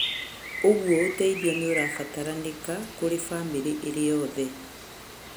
Ũguo ũteithio nĩ ũrabataranĩka kũrĩ bamĩrĩ ĩrĩ yothe.